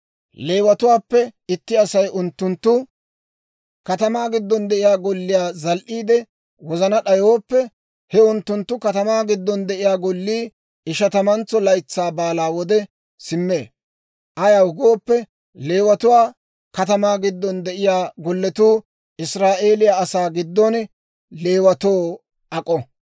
Leewatuwaappe itti Asay unttunttu katamaa giddon de'iyaa golliyaa zal"iide wozana d'ayooppe, he unttunttu katamaa giddon de'iyaa gollii Ishatamantso Laytsaa Baalaa wode simmee. Ayaw gooppe, Leewatuwaa katamaa giddon de'iyaa golletuu Israa'eeliyaa asaa giddon Leewatoo ak'o.